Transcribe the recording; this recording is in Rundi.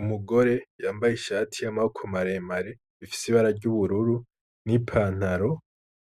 Umugore yambaye ishati y'amaboko maremare afise ibara ry'ubururu n'ipantaro